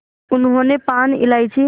उन्होंने पान इलायची